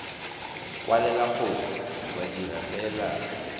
kwalela gongwe wa dira peelano